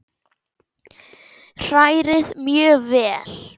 Hrærið mjög vel.